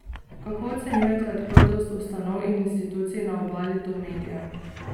Kako ocenjujete odprtost ustanov in institucij na Obali do medijev?